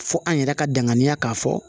Fo an yɛrɛ ka danganiya k'a fɔ